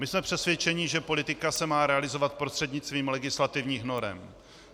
My jsme přesvědčeni, že politika se má realizovat prostřednictvím legislativních norem.